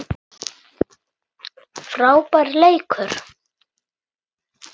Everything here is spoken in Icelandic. Frábær leikur.